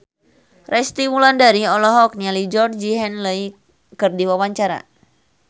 Resty Wulandari olohok ningali Georgie Henley keur diwawancara